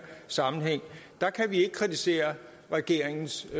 sammenhæng kan vi ikke kritisere regeringens